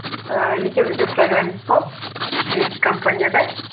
ііі екеуміз де программист болып екі компанияда